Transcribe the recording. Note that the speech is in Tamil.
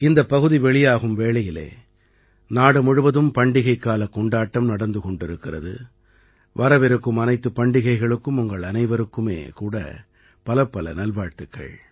இந்தப் பகுதி வெளியாகும் வேளையில் நாடு முழுவதிலும் பண்டிகைக்காலக் கொண்டாட்டம் நடந்து கொண்டிருக்கிறது வரவிருக்கும் அனைத்துப் பண்டிகைகளுக்கும் உங்கள் அனைவருமே கூட பலப்பல நல்வாழ்த்துக்கள்